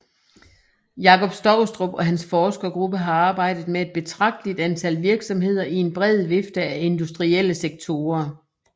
Jakob Stoustrup og hans forskergruppe har arbejdet med et betragteligt antal virksomheder i en bred vifte af industrielle sektorer